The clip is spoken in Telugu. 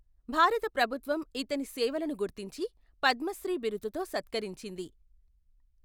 భారత ప్రభుత్వం ఇతని సేవలను గుర్తించి పద్మశ్రీ బిరుదు తో సత్కరించింది.